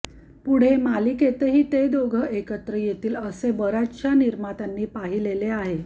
पुढे मालिकेतही ते दोघे एकत्र येतील असे बर्याचशा निर्मात्यांनी पाहिलेले आहे